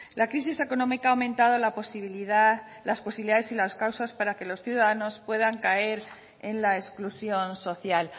la crisis económica ha aumentado las posibilidades y las causas para que los ciudadanos puedan caer en la exclusión social